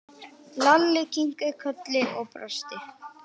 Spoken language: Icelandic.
Lalli kinkaði kolli og brosti.